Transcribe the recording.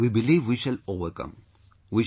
Sir we believe we shall overcome